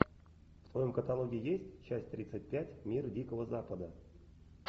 в твоем каталоге есть часть тридцать пять мир дикого запада